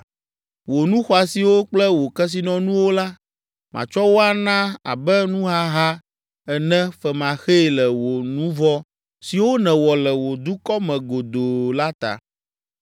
“Wò nu xɔasiwo kple wò kesinɔnuwo la, matsɔ wo ana abe nuhaha ene femaxee le wò nu vɔ̃ siwo nèwɔ le wò dukɔ me godoo la ta.